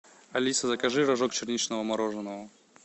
алиса закажи рожок черничного мороженого